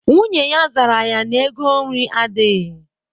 Nwunye ya zara ya na ego nri adịghị.